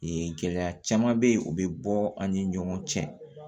Ee gɛlɛya caman bɛ ye u bɛ bɔ an ni ɲɔgɔn cɛ